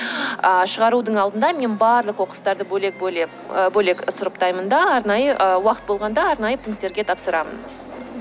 ыыы шығарудың алдында мен барлық қоқыстарды бөлек бөлем ы бөлек сұрыптаймын да арнайы уақыт болғанда арнайы пункттерге тапсырамын